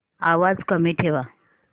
आवाज कमी ठेवा